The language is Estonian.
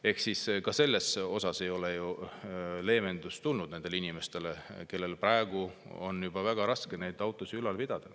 Ehk siis ka selle kaudu ei ole leevendust tulnud nendele inimestele, kellel praegu on juba väga raske autosid ülal pidada.